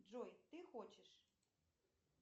джой ты хочешь